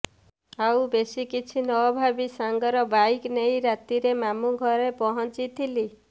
ଆଉ ବେଶି କିଛି ନଭାବି ସାଙ୍ଗର ବାଇକ୍ ନେଇ ରାତିରେ ମାମୁଁ ଘରେ ପହଞ୍ଚିଥିଲି